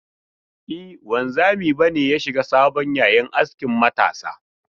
E, wanzami ba ne ya shiga sabon yayin askin matasa.